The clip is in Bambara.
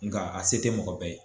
Nka a se tɛ mɔgɔ bɛɛ ye